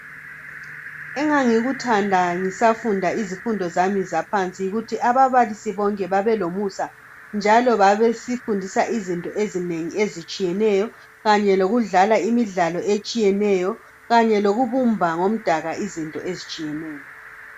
Engangikuthanda ngisafunda izifundo zami zaphansi yikuthi ababalisi bonke babelomusa njalo babesifundisa izinto ezinengi ezitshiyeneyo. Kanye lokudlala imidlalo etshiyeneyo. Kanye lokubumba ngomdaka izinto ezitshiyeneyo.